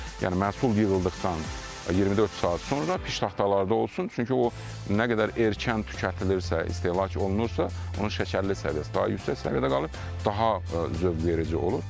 Yəni məhsul yığıldıqdan 24 saat sonra piştaxtalarda olsun, çünki o nə qədər erkən tükətilirsə, istehlak olunursa, onun şəkərli səviyyəsi daha yüksək səviyyədə qalır, daha zövqverici olur.